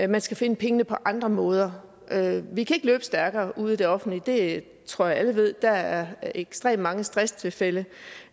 man skal finde pengene på andre måder vi kan ikke løbe stærkere ude i det offentlige det tror jeg alle ved der er ekstremt mange stresstilfælde